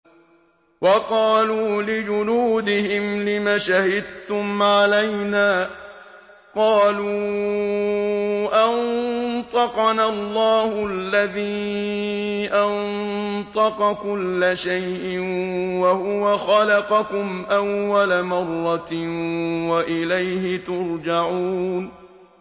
وَقَالُوا لِجُلُودِهِمْ لِمَ شَهِدتُّمْ عَلَيْنَا ۖ قَالُوا أَنطَقَنَا اللَّهُ الَّذِي أَنطَقَ كُلَّ شَيْءٍ وَهُوَ خَلَقَكُمْ أَوَّلَ مَرَّةٍ وَإِلَيْهِ تُرْجَعُونَ